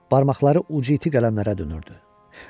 Barmaqları uc iti qələmlərə dönürdü.